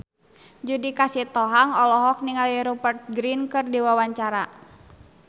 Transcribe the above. Judika Sitohang olohok ningali Rupert Grin keur diwawancara